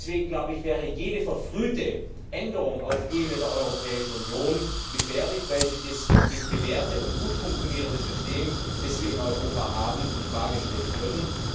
Deswegen, glaube ich, wäre jede verfrühte Änderung auf Ebene der Europäischen Union gefährlich, weil sie das bewährte und gut funktionierende System, das wir in Europa haben, in Frage stellen würde.